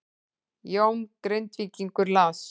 Jón Grindvíkingur las